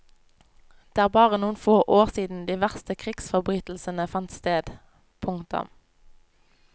Det er bare noen få år siden de verste krigsforbrytelsene fant sted. punktum